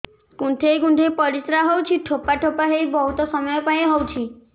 କୁନ୍ଥେଇ କୁନ୍ଥେଇ ପରିଶ୍ରା ହଉଛି ଠୋପା ଠୋପା ହେଇ ବହୁତ ସମୟ ଯାଏ ହଉଛି